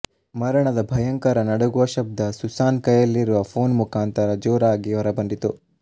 ಮರಣದ ಭಯಂಕರ ನಡುಗುವ ಶಬ್ದ ಸುಸಾನ್ ಕೈಯಲ್ಲಿರುವ ಫೋನ್ ಮುಖಾಂತರ ಜೋರಾಗಿ ಹೊರಬಂದಿತು